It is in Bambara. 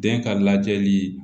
Den ka lajɛli